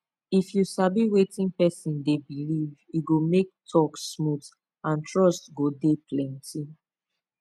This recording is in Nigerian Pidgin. if you sabi wetin person dey believe e go make talk smooth and trust go dey plenty